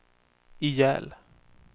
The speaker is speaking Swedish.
ihjäl